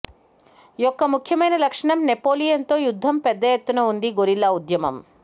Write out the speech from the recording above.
యొక్క ముఖ్యమైన లక్షణం నెపోలియన్ తో యుద్ధం పెద్ద ఎత్తున ఉంది గెరిల్లా ఉద్యమం